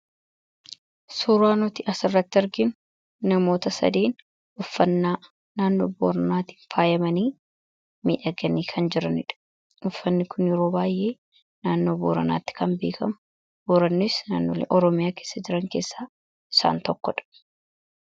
Suuraa nuti as irratti arginu namoota sadeen uffannaa naannoo Booranaatiin faayyamanii miidhaganii kan jiraniidha. Uffanni kun yeroo baay'ee naannoo Booranaatti kan beekamu, Boorannis naannoo Oromiyaa keessa jiran keessaa isaan tokkodha.